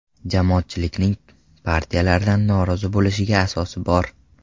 Jamoatchilikning partiyalardan norozi bo‘lishiga asos bor.